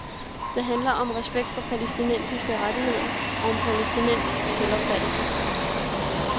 Det handler om respekt for palæstinensiske rettigheder og om palæstinensisk selvopfattelse.